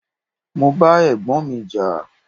Mo bá Ẹ̀gbọ́n mi jà.